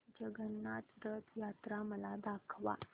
जगन्नाथ रथ यात्रा मला दाखवा